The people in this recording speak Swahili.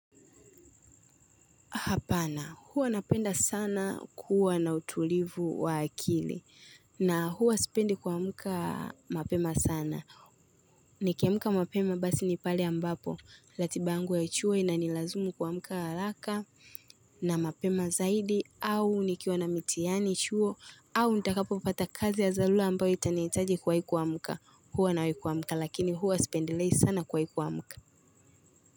Hapana, huwa napenda sana kuwa na utulivu wa akili na huwa spendi kuamka mapema sana. Nikiamka mapema basi ni pali ambapo, latiba yangu ya chuo ina nilazimu kuamka haraka na mapema zaidi au nikiwa na mitihani chuo au nitakapo pata kazi ya zalula ambayo itaniitaji kwa hikuwa mka huwa na hikuwa muka lakini huwa spendi lehi sana kwa hikuwa muka.